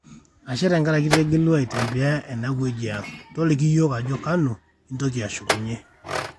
ashe tenkaraki itegelua aitembea ene wueji ang, toliki yiok ajo kanu intoki ashukunyue